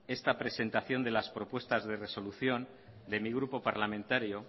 esta presentación de las propuestas de resolución de mi grupo parlamentario